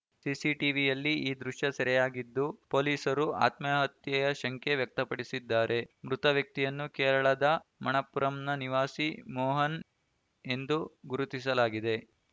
ಸಿಸಿಟಿವಿಯಲ್ಲಿ ಈ ದೃಶ್ಯ ಸೆರೆಯಾಗಿದ್ದು ಪೊಲೀಸರು ಆತ್ಮಹತ್ಯೆಯ ಶಂಕೆ ವ್ಯಕ್ತಪಡಿಸಿದ್ದಾರೆ ಮೃತ ವ್ಯಕ್ತಿಯನ್ನು ಕೇರಳದ ಮಣಪ್ಪುರಂನ ನಿವಾಸಿ ಮೋಹನ್‌ ಎಂದು ಗುರುತಿಸಲಾಗಿದೆ